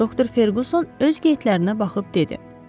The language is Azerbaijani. Doktor Ferqson öz qeytlərinə baxıb dedi: